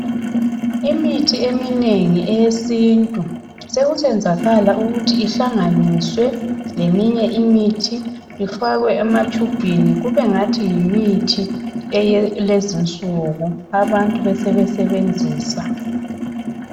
Imithi eminengi eyesintu, sekusenzakala ukuthi ihlanganiswe leminye imithi, ifakwe ematshubhini kubengathi yimithi eyakulezinsuku, abantu besebesebenzisa